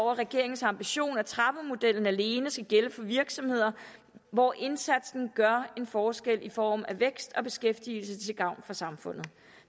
regeringens ambition at trappemodellen alene skal gælde for virksomheder hvor indsatsen gør en forskel i form af vækst og beskæftigelse til gavn for samfundet